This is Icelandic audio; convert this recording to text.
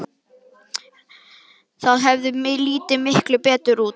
Það hefði litið miklu betur út.